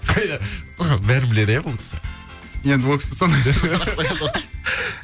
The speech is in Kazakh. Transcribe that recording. бәрін біледі иә бұл кісі